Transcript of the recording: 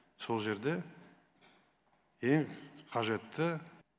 сол жерде ең қажетті